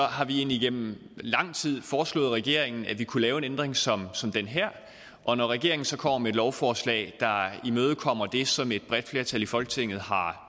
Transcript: har vi igennem lang tid foreslået regeringen at vi kunne lave en ændring som som den her og når regeringen så kommer med et lovforslag der imødekommer det som et bredt flertal i folketinget har